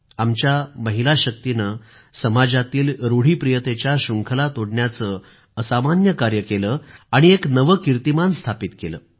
आमच्या महिला शक्तीने समाजातील रूढीप्रियतेच्या शृंखला तोडण्याचं असामान्य कार्य केलं आणि एक नवे कीर्तिमान स्थापित केले